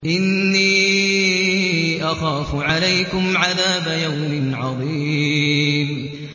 إِنِّي أَخَافُ عَلَيْكُمْ عَذَابَ يَوْمٍ عَظِيمٍ